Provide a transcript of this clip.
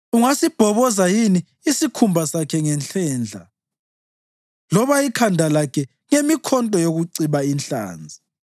Ungasibhoboza yini isikhumba sakhe ngenhlendla loba ikhanda lakhe ngemikhonto yokuciba inhlanzi?